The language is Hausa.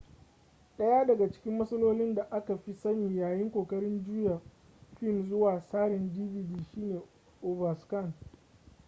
daya daga cikin matsalolin da aka fi sani yayin kokarin juya fim zuwa tsarin dvd shine overscan